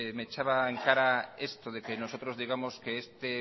me echaba en cara esto de que nosotros digamos que este